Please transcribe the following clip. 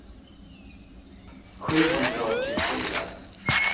sjuhundraåttiofyra